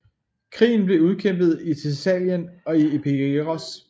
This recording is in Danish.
Krigen blev udkæmpet i Thessalien og i Epeiros